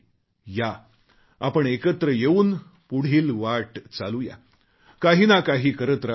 या आपण एकत्र येऊन पुढील वाट चालू या काही ना काही करत राहू या